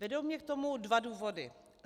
Vedou mě k tomu dva důvody.